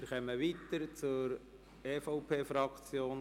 Wir kommen zur EVP-Fraktion.